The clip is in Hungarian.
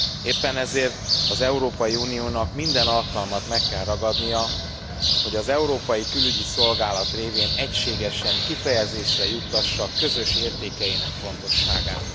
Éppen ezért az Európai Uniónak minden alkalmat meg kell ragadnia, hogy az Európai Külügyi Szolgálat révén egységesen kifejezésre juttassa közös értékeinek fontosságát.